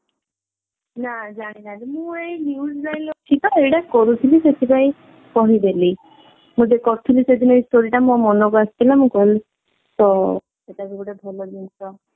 ନା ଜାଣିନାହାନ୍ତି ମୁଁ ଏଇ news line ରେ ଅଛି ତ ଏଇଟା କରୁଥିଲି ସେଥିପାଇଁ କହିଦେଲି ଗୋଟେ କରୁଥିଲି ସେଦିନ ଏଇ story ଟା ମୋ ମନକୁ ଆସିଥିଲା ମୁଁ କଲି ତ ଏଇଟା ବି ଗୋଟେ ଭଲ ଜିନିଷ